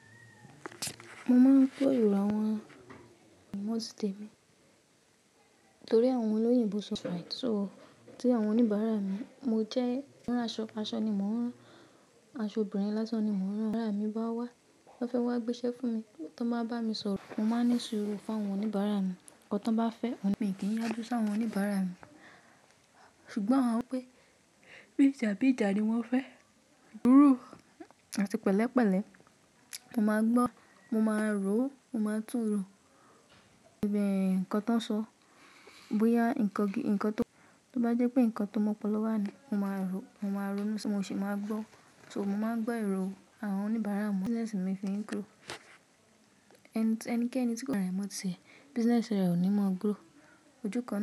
Mo máa ń pe èrò àwọn ọmọ síte mi torí àwọn olóyìnbó. So tí àwọn oníbàrà mi, mo jẹ́ rán aṣọ, aṣọ ni mo ń rán, aṣọ obìnrin lásán ni mo ń rán o, tí àwọn oníbàrà mi bá wá, tí wọ́n bá fẹ́ gbéṣẹ́ fún mi tí wọ́n bá bá mi sọ̀rọ̀, mo máa ní sùúrù fún àwọn oníbàárà mi. Ohun tan bá fẹ́, mi i kí n yájú sí àwọn oníbàárà mi. Ṣùgbọ́n awọ́n wipè bí ìjà bí ìjà ni wọ́n fẹ́. Sùúrù àti pẹ̀lẹ́pẹ̀lẹ́, mo máa gbọ́, mo máa rò ó, mo máa tún rò ǹkan tí wọ́n sọ. Bóyá ǹkan tó, tó bá jẹ́ pé ǹkan tó mọ pọ̀lọ wà ní, mo máa rò ó, mo máa rònu si, mo sì máa gbọ́. So mo máa ń gbọ́ èrò àwọn oníbàárà mi. Business mi fi ń grow. Ẹnikẹ́ni tí kò bá ra mọ́ ti ẹ̀, business rẹ̀ ò ní mọ́ grow. Ojú kan.